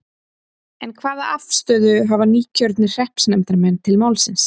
En hvaða afstöðu hafa nýkjörnir hreppsnefndarmenn til málsins?